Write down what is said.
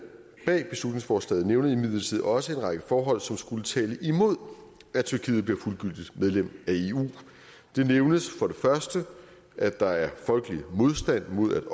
bag beslutningsforslaget nævner imidlertid også en række forhold som skulle tale imod at tyrkiet bliver fuldgyldigt medlem af eu det nævnes for det første at der er folkelig modstand mod